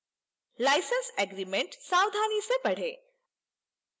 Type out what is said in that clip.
license agreement सावधानी से पढ़ें